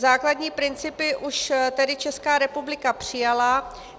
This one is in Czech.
Základní principy už tedy Česká republika přijala.